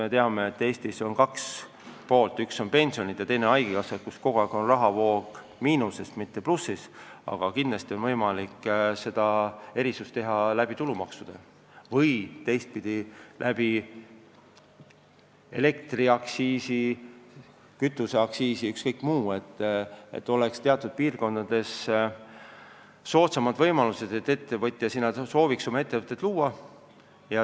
Eestis on pensionid ja haigekassa need, kus kogu aeg on rahavoog miinuses, mitte plussis, aga kindlasti saab erisust võimaldada läbi tulumaksude või siis läbi elektriaktsiisi, kütuseaktsiisi, ükskõik mis moel, et oleks teatud piirkondades soodsamad võimalused, et ettevõtja sooviks sinna oma ettevõtet luua.